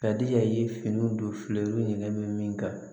Ka di yan ye finiw don filiw ɲɛgɛn bɛ min kan